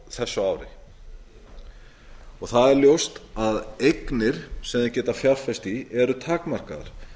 á þessu ári það er ljóst að eignir sem þeir geta fjárfest í eru takmarkaðar